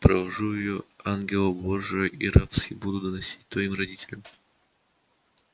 провожу её ангела божия и рабски буду доносить твоим родителям что такой невесте не надобно и приданого